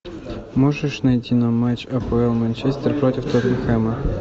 можешь найти нам матч апл манчестер против тоттенхэма